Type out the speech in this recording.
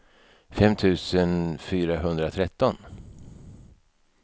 fem tusen fyrahundratretton